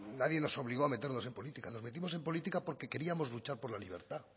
nadie nos obligó a meternos en política nos metimos en política porque queríamos luchar por la libertad